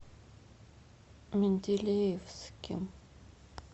менделеевске